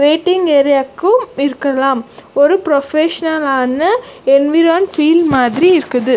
Waiting ஏரியாக்கும் இருக்கலாம் ஒரு ப்ரொஃபஷனல் ஆன என்விரான் பீல் மாதிரி இருக்குது.